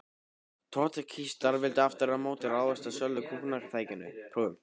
Trotskíistar vildu aftur á móti ráðast að sjálfu kúgunartækinu: prófunum.